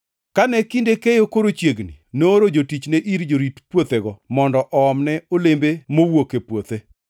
Kane kinde keyo koro chiegni, nooro jotichne ir jorit puothego mondo oomne olembe mowuok e puothe.